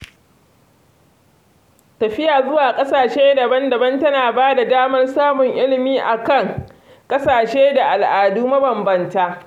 Tafiya zuwa ƙasashe daban-daban tana bada damar samun ilimi akan ƙasashe da al'adu mabanbanta